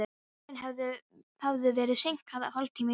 Fluginu hafði verið seinkað hálftíma í viðbót.